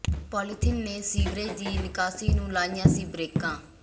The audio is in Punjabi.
ਪੋਲੀਥੀਨ ਨੇ ਸੀਵਰੇਜ ਦੀ ਨਿਕਾਸੀ ਨੂੰ ਲਾਈਆਂ ਸੀ ਬਰੇਕਾਂ